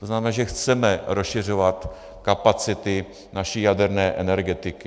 To znamená, že chceme rozšiřovat kapacity naší jaderné energetiky.